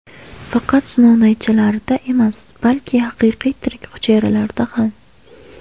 Faqat sinov naychalarida emas, balki haqiqiy tirik hujayralarda ham.